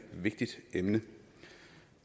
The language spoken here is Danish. vigtigt emne